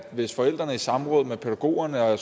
hvis forældrene i samråd med pædagogerne og